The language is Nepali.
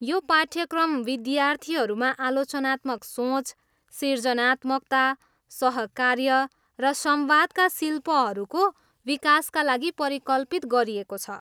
यो पाठ्यक्रम विद्यार्थीहरूमा आलोचनात्मक सोच, सिर्जनात्मकता, सहकार्य र संवादका शिल्पहरूको विकासका लागि परिकल्पित गरिएको छ।